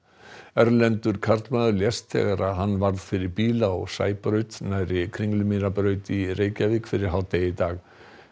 erlendur karlmaður lést þegar hann varð fyrir bíl á Sæbraut nærri Kringlumýrarbraut í Reykjavík fyrir hádegi í dag